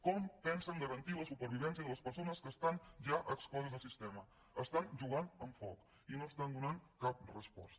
com pensen garantir la supervivència de les persones que estan ja excloses del sistema estan jugant amb foc i no hi estan donant cap resposta